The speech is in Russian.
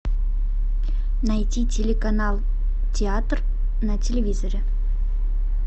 найти телеканал театр на телевизоре